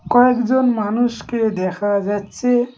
কয়েকজন মানুষকে দেখা যাচ্ছে।